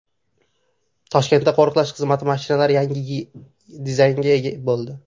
Toshkentda qo‘riqlash xizmati mashinalari ham yangi dizaynga ega bo‘ldi.